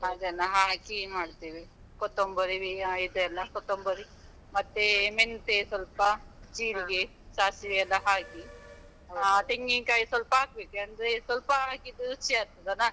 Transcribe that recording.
ಅದನ್ನ ಹಾಕಿ ಮಾಡ್ತೇವೆ, ಕೊತೊಂಬರಿ ಇದೆಲ್ಲಾ ಕೊತ್ತೊಂಬರಿ, ಮತ್ತೆ ಮೆಂತೆ ಸ್ವಲ್ಪ ಜೀರಿಗೆ, ಸಾಸಿವೆ ಎಲ್ಲ ಹಾಕಿ ಹಾ ತೆಂಗಿನ್ಕಾಯ್‌ ಸ್ವಲ್ಪ ಹಾಕ್ಬೇಕು, ಅಂದ್ರೆ ಸ್ವಲ್ಪ ಹಾಕಿದ್ರೆ ರುಚಿ ಆಗ್ತದಲ್ಲ.